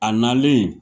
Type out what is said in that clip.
A nalen